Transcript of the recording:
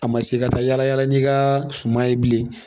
A ma se ka taa yala yala n'i ka suma ye bilen